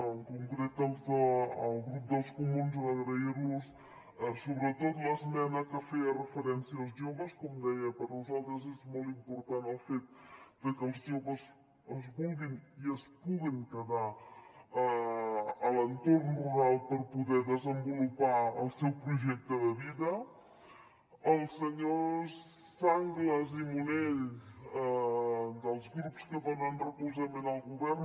en concret el grup dels comuns agrair los sobretot l’esmena que feia referència als joves com deia per nosaltres és molt important el fet de que els joves es vulguin i es puguin quedar a l’entorn rural per poder desenvolupar el seu projecte de vida als senyors sanglas i munell dels grups que donen recolzament al govern